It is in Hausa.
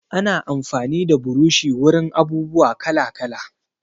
Ana amfani da burushi wurin abubuwa kala-kala.